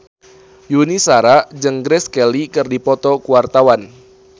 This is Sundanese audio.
Yuni Shara jeung Grace Kelly keur dipoto ku wartawan